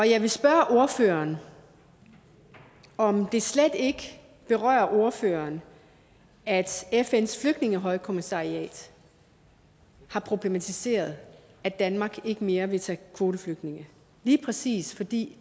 jeg vil spørge ordføreren om det slet ikke berører ordføreren at fns flygtningehøjkommissariat har problematiseret at danmark ikke mere vil tage kvoteflygtninge lige præcis fordi